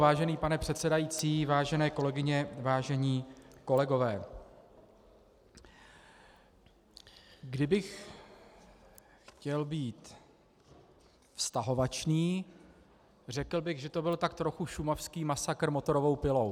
Vážený pane předsedající, vážené kolegyně, vážení kolegové, kdybych chtěl být vztahovačný, řekl bych, že to byl tak trochu šumavský masakr motorovou pilou.